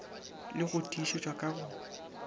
le go tiišetšwa ka go